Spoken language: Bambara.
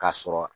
K'a sɔrɔ